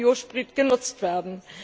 Biosprit genutzt werden.